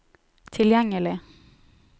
tilgjengelig